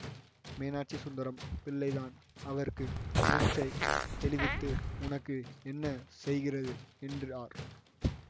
மீனாட்சிசுந்தரம் பிள்ளைதான் அவருக்கு மூர்ச்சை தெளிவித்து உனக்கு என்ன செய்கிறது என்றார்